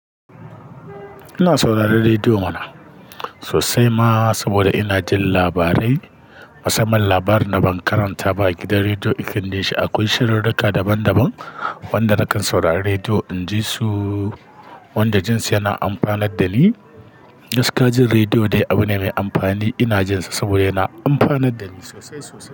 Ina sauraron rediyo mana sosai ma saboda ina jin labarai, musamman labarin da ban karanta ba a gidan rediyo iken de shi akwai shirurruka daban daban wanda nakan saurari rediyo inji su wanda jin su yana amfanar da ni. Gaskiya jin rediyo dai abu ne mai amfani. Ina jin sa saboda yana amfanar da ni sosai sosai.